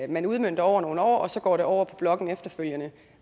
man udmønter over nogle år og så går det over på blokken efterfølgende